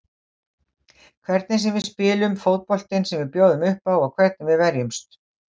Hvernig við spilum, fótboltinn sem við bjóðum uppá og hvernig við verjumst.